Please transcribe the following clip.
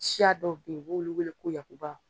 Siya dɔw be yen, u b'olu wele ko yakuba